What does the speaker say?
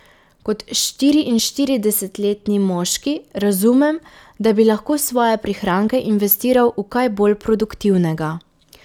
Kot štiriinštiridesetletni moški razumem, da bi lahko svoje prihranke investiral v kaj bolj produktivnega.